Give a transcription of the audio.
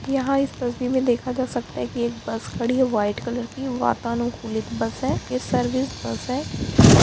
यहाँ इस तस्वीर में देखा जा सकता है की एक बस खड़ी है वाइट कलर की वातानुकूलित बस है यह सर्विस बस है और --